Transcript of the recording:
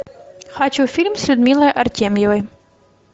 хочу фильм с людмилой артемьевой